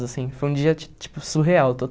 Assim, foi um dia ti tipo surreal,